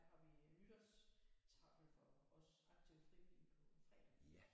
Der har vi nytårstaffel for os aktive frivillige på fredag